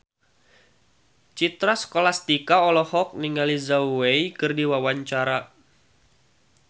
Citra Scholastika olohok ningali Zhao Wei keur diwawancara